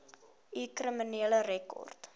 u kriminele rekord